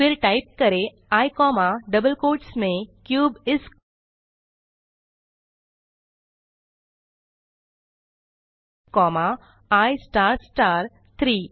फिर टाइप करें I comma double quotes में क्यूब इस कॉमा आई स्टार स्टार 3